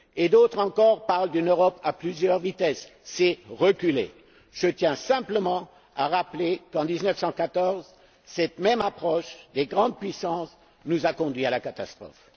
D'autres encore parlent d'une Europe à plusieurs vitesses c'est reculer. Je tiens simplement à rappeler qu'en 1914 cette même approche des grandes puissances nous a conduits à la catastrophe.